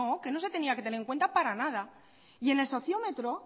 que no se tenía que tener en cuenta para nada y en el sociómetro